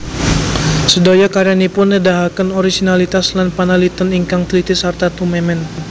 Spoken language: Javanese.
Sedaya karyanipun nedahaken orisinalitas lan panaliten ingkang tliti sarta tumemen